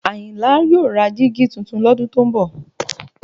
Àyìnlá yóò ra dígí tuntun lọ́dún tó ń bọ̀